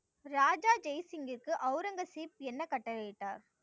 ராஜா ஜெய் சிங்கிற்கு அவுரங்கசீப் என்ன கட்டளை இட்டார்?